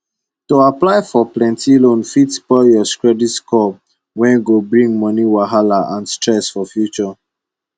to apply for plenty loan fit spoil your credit score wey go bring moni wahala and stress for future